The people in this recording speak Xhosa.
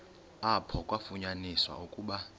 apho kwafunyaniswa ukuba